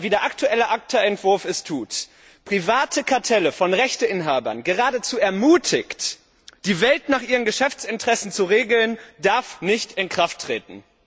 der aktuelle ACTA Entwurf es tut private Kartelle von Rechteinhabern geradezu ermutigt, die Welt nach ihren Geschäftsinteressen zu regeln, darf nicht in Kraft treten!